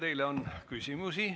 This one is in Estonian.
Teile on küsimusi.